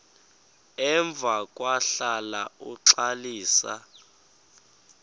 emva kwahlala uxalisa